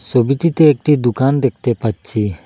ছবিটিতে একটি দুকান দেখতে পাচ্ছি।